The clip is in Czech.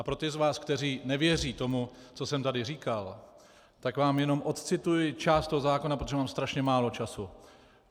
A pro ty z vás, kteří nevěří tomu, co jsem tady říkal, tak vám jenom odcituji část toho zákona, protože mám strašně málo času.